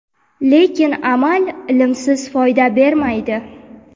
Lekin amal ilmsiz foyda bermaydi.